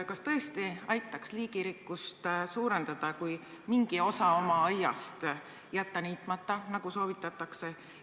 Kas tõesti aitaks liigirikkust suurendada, kui mingi osa oma aiast jätta niitmata, nagu soovitatakse?